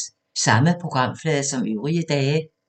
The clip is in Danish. Samme programflade som øvrige dage